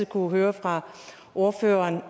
kunnet høre ordføreren